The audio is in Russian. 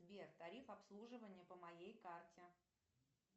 сбер тариф обслуживания по моей карте